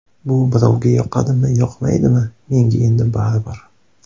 Bu birovga yoqadimi-yoqmaydimi, menga endi baribir.